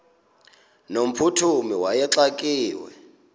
no mphuthumi wayexakiwe